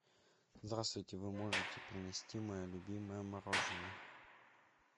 здравствуйте вы можете принести мое любимое мороженое